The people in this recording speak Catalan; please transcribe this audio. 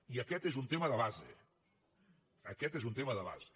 i aquest és un tema de base aquest és un tema de base